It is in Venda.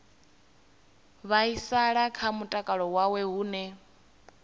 vhaisala kha mutakalo wawe hune